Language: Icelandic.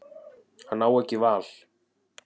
Hann á ekki val.